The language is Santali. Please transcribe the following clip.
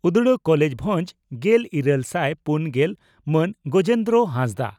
ᱩᱰᱽᱲᱟ ᱠᱚᱞᱮᱡᱽ ᱵᱷᱚᱸᱡᱽ ᱾ᱜᱮᱞ ᱤᱨᱟᱹᱞ ᱥᱟᱭ ᱯᱩᱱ ᱜᱮᱞ ᱹ ᱢᱟᱱ ᱜᱚᱡᱮᱱᱫᱽᱨᱚ ᱦᱟᱸᱥᱫᱟᱜ